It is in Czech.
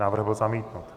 Návrh byl zamítnut.